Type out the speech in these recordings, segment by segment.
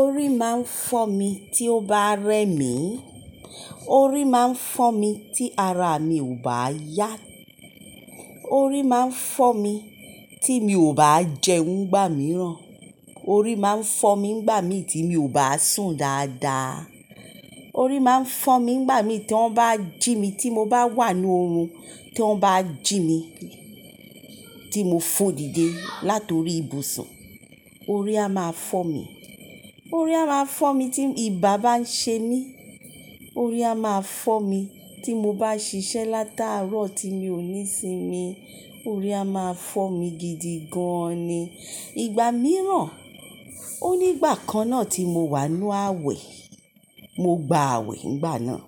Orí máa ń fọ́ mi tí ó bá rẹ mí. Orí máa ń fọ́ mi tí ara mi ò bá yá. Orí máa ń fọ́ mi tí mi ò bá jẹun nígbà míràn. Orí máa ń fọ́ mi nígbà mi tí mi ò bá sùn dáadáa. Orí máa ń fọ́ mi nígbà mi tí wọ́n bá jí mi tí mo bá wà ní orun, tí wọ́n bá jí mi, tí mo fò dìde látorí ibùsùn, orí a máa fọ́ mi. Orí a máa fọ́ mi tí ibà bá ń ṣe mí. Orí a máa fọ́ mi tí mo bá ṣiṣẹ́ látàárọ̀ tí mi ò ní sinmi. Orí a máa fọ́ mi gidi gan ni. Ìgbà mìíràn, ó nígbà kan náà tí mo wà nu àwẹ̀, mo gba àwẹ̀ nígbà náà.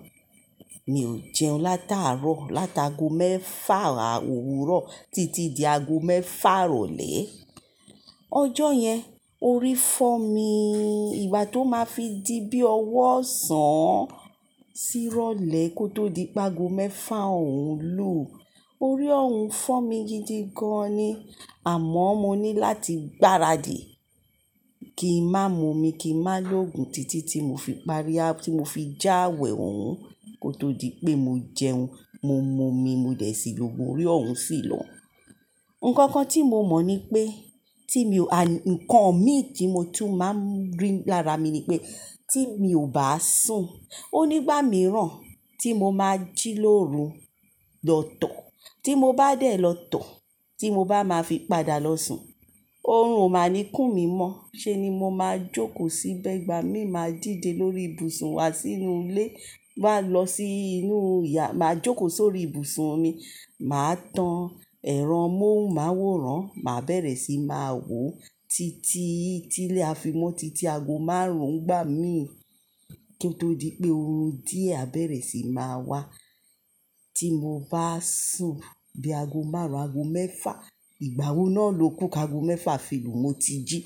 Mi ò jẹun látàárọ̀, látàgọ mẹ́fà òwúrọ̀ títí di ago mẹ́fà ìrọ̀lẹ́. Ọjọ́ yẹn orí fọ́ mi. Ìgbà tó máa fi di bí ọwọ́ ọ̀sán sírọ́lẹ̀ kó tó di pa ago mẹ́fà òun lù, orí òun fọ́ mi gidi gan an ni. Àmọ́ mo ní láti gbáradì, kí n má mu omi, kí n má lo ògùn títí tí mo fi parí, tí mo fi já àwẹ̀ òun kó tó di pé mo jẹun, mo mu omi, mo dẹ̀ sílògun orí òun sì lọ. Ǹkankan tí mo mọ̀ ni pé, tí mi ò, an ǹkan mi tí mo tún máa ń rí lára mi ni pé tí mi ò bá sùn, ó nígbà mìíràn tí mo máa jí lóru, lọ tọ̀, tí mo bá dẹ̀ lọ tọ̀, tí mo bá máa fi padà lọ sùn, orun ò máa ní kún mi mọ́. Ṣe ni mo máa jókòó sí bẹ́ ìgbà mi máa dìde lórí ibùsùn wá sínú ilé, má lọ sí inú ìyà, màá jókòó sórí ibùsùn mi. Màá tan ẹran mohunmaworan, màá bẹ̀rẹ̀ sí máa wò títí tí ilé afimọ́, títí ago márùn ún ìgbà mí kó tó di pé orun díẹ̀ a bẹ̀rẹ̀ síí máa wá. Tí mo bá sùn di ago márùn, ago mẹ́fà, ìgbà wo náà ló kú káàgọ mẹ́fà filu mo ti jí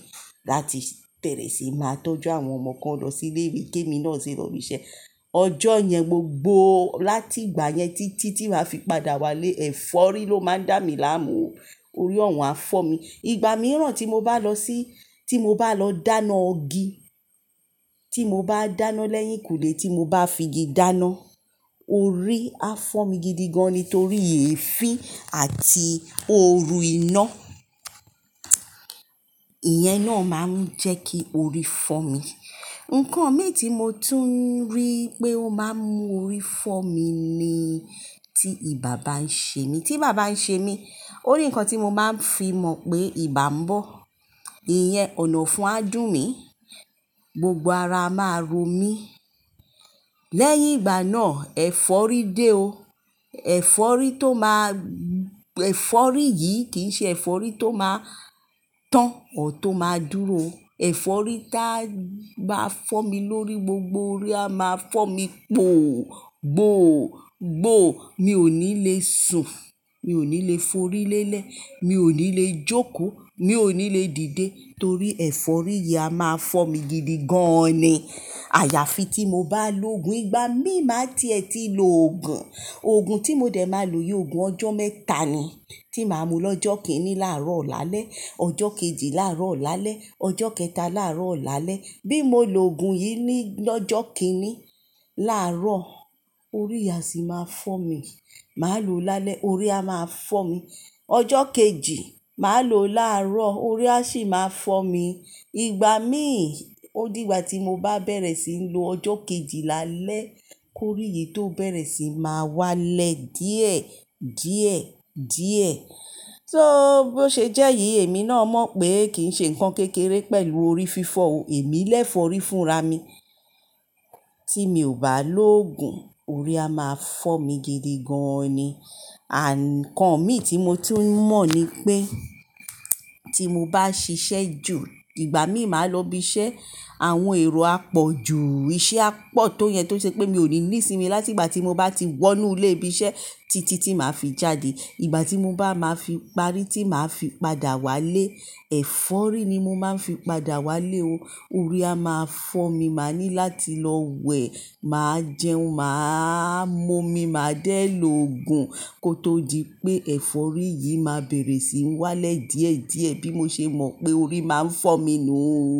láti bẹ̀rẹ̀ sí máa tọ́jú àwọn ọmọ kan lọ sí ilé ìwé ké mi náà sì lọ ibi iṣẹ́. Ọjọ́ yẹn gbogbo, láti ìgbà yẹn títí tí màá fi padà wá lé, ẹ̀fọ́rí ló máa ń dá mi láàmú. Orí òun á fọ́mi. Ìgbà mìíràn tí mo bá lọ sí, tí mo bá lọ dáná igi, tí mo bá dáná lẹ́hìn kùlé tí mo bá figi dáná, orí á fọ́ mi gidi gan ni torí èéfín àti òru iná. Ìyẹn náà máa ń jẹ́ kí orí fọ́ mi. Ǹkan mi tí mo tún ń rí pé ó máa ń mú orí fọ́ mi ni tí ibà bá ń ṣe mí. Tí ibà bá ń ṣe mí, ó ní ǹkan tí mo máa ń fi mọ̀ pé ibà bọ̀. Ìyẹn ọ̀nàfun á dùn mi, gbogbo ara máa ro mí. Lẹ́yìn ìgbà náà, ẹ̀fọ́rí dé o. Ẹ̀fọ́rí tó máa, ẹ̀fọ́rí yìí kìí ṣe ẹ̀fọ́rí tó máa tán ọ tó máa dúró. Ẹ̀fọ́rí táa má fọ́ mi lórí, gbogbo orí á máa fọ́ mi gboọ̀, gbòò, gbòò. Mi ò ní lè sùn, mi ò ní lè forí lélẹ̀, mi ò ní lè jókòó, mi ò ní lè dìde torí ẹ̀fọ́rí yìí á máa fọ́ mi gidi gan an ni. Àyàfi tí mo bá lo ògùn. Ìgbà mí máa ti ẹ ti lo ògùn. Ògùn tí mo dẹ̀ máa lo yi ògùn ọjọ́ mẹ́ta ni tí màá mu lọ́jọ́ kìíní láàrọ̀ laálẹ́, ọjọ́ kejì láàrọ̀ laálẹ́, ọjọ́ kẹta láàrọ̀ laálẹ́. Bí mo lo ògùn yìí ní ọjọ́ kìíní láàrọ̀, orí yìí a sì máa fọ́ mi. Màá lo lálẹ́, orí a máa fọ́ mi. Ọjọ́ kejì, màá lo láàrọ̀, orí a sì máa fọ́ mi. Ìgbà mií, ó di ìgbà tí mo bá bẹ̀rẹ̀ sí lo ọjọ́ kejì láalẹ́ kó orí yìí tó bẹ̀rẹ̀ sí máa wálẹ̀ díẹ̀ díẹ̀ díẹ̀. Só bó ṣe jẹ́ yìí, èmi náà mọ̀ pé kìí ṣe ǹkan kékeré pẹ̀lú orí fífọ́ o. Èmi lẹ́fọ́rí fúnra mi. Tí mi ò bá lo ògùn, orí a máa fọ́ mi gidi gan an ni. Ǹkan mi tí mo tún mọ̀ ni pé tí mo bá ṣiṣẹ́ jù, ìgbà mí màá lọ ibi iṣẹ́, àwọn èrò á pọ̀jù, iṣẹ́ á pọ̀ tó yẹn tó ṣe pé mi ò ní ní sinmi láti ìgbà tí mo bá ti wọ inú ilé ibi iṣẹ́ títí tí màá fi jáde. Ìgbà tí mo bá máa fi parí, tí màá fi padà wá lé, ẹ̀fọ́rí ni mo máa ń fi padà wálé o. Orí á máa fọ́ mi, màá ní láti lọ wẹ̀, màá jẹun, màá mumi, màá dẹ̀ lo ògùn kó tó di pé ẹ̀fọ́rí yìí máa bẹ̀rẹ̀ sí ń wálẹ̀ díẹ̀ díẹ̀ bí mo ṣe mọ̀ pé orí máa ń fọ́ mi nu o.